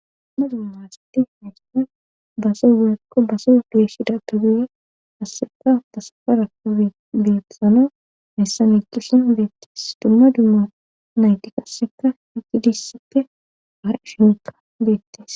Dumma dumma asitti nayqisan base geyakko base geeshida daduye asseka tasafarakko betsano heyssa n equsan beettes dumma dumma naytikasseka higi dissippe har shineka beettes.